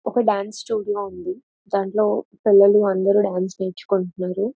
ఒక dance studio ఉంది. దాంట్లో పిల్లలు అందరూ డాన్స్ నేర్చుకుంటున్నారు.